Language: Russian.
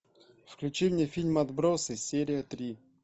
включи мне фильм отбросы серия три